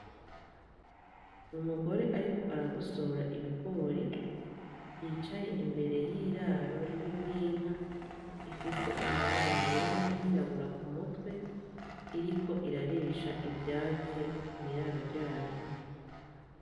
Umugore ariko aragosora ibigori , yicaye imbere y'iraro ririmwo inka, ifise amabara yera nay'irabura kumutwe, iriko irarisha ivyatsi mw'iraro ryayo .